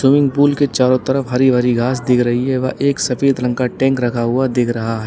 Swimming pool के चारों तरफ हरी भरी घास दिख रही है व एक सफेद रंग का टैंक रखा हुआ दिख रहा है।